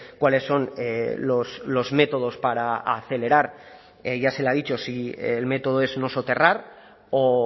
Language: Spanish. cuáles son los métodos para acelerar ya se le ha dicho si el método es no soterrar o